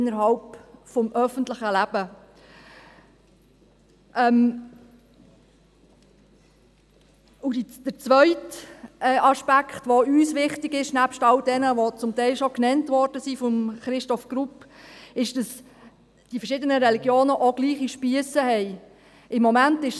Der zweite Aspekt, welcher uns wichtig ist, neben all diesen, welche bereits von Grossrat Grupp genannt wurden, ist, dass die Religionen auch gleich lange Spiesse haben sollte.